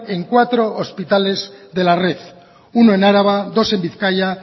en cuatro hospitales de la red uno en araba dos en bizkaia